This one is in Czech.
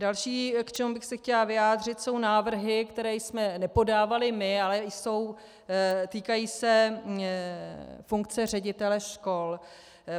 Další, k čemu bych se chtěla vyjádřit, jsou návrhy, které jsme nepodávali my, ale týkají se funkce ředitele škol.